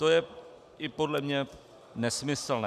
To je i podle mě nesmyslné.